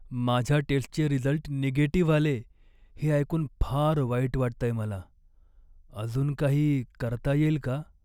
माझ्या टेस्टचे result negative आले हे ऐकून फार वाईट वाटतंय मला. अजून काही करता येईल का?